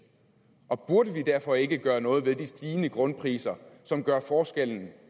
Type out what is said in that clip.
og burde vi derfor ikke gøre noget ved de stigende grundpriser som gør forskellen